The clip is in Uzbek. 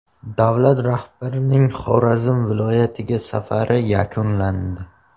Davlat rahbarining Xorazm viloyatiga safari yakunlandi.